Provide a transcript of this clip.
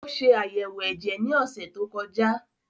Ó ṣe àyẹ̀wò ẹ̀jẹ̀ ní ọ̀sẹ̀ tó kọjá